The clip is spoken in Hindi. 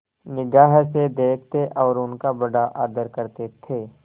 निगाह से देखते और उनका बड़ा आदर करते थे